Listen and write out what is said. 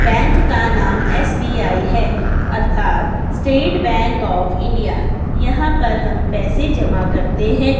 Bank का नाम S B I है अर्थात स्टेट बैंक ऑफ इंडिया यहां पर हम पैसे जमा करते है।